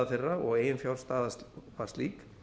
þeirra og eiginfjárstaða var slík